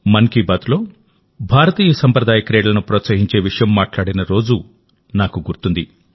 మన్ కీ బాత్లో భారతీయసంప్రదాయ క్రీడలను ప్రోత్సహించే విషయం మాట్లాడిన రోజు నాకు గుర్తుంది